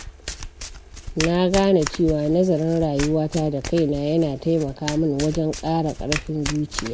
Na gane cewa nazarin rayuwata da kaina yana taimaka mun wajen ƙara ƙarfin zuciya.